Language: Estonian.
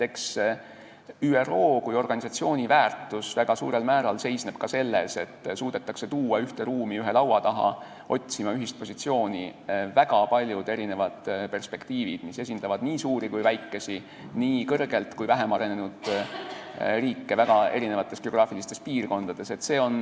Eks ÜRO kui organisatsiooni väärtus seisne väga suurel määral ka selles, et suudetakse ühte ruumi ühe laua taha ühist positsiooni otsima tuua väga paljud erinevad perspektiivid, mis esindavad nii suuri kui ka väikesi, nii kõrgelt kui ka vähem arenenud riike väga erinevatest geograafilistest piirkondadest.